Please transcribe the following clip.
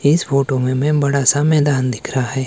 इस फोटो में मैं बड़ा सा मैदान दिख रहा हैं।